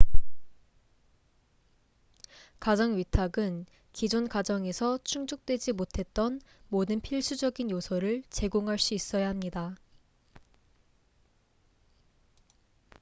가정 위탁은 기존 가정에서 충족되지 못했던 모든 필수적인 요소를 제공할 수 있어야 합니다